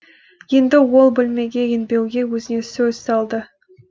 енді ол бөлмеге енбеуге өзіне сөз салды